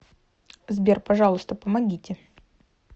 сбер пожалуйста помогите